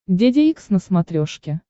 деде икс на смотрешке